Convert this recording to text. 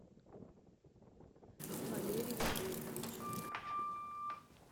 валерий валерьевич